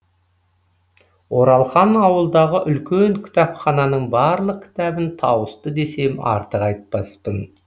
оралхан ауылдағы үлкен кітапхананың барлық кітабын тауысты десем артық айтпаспын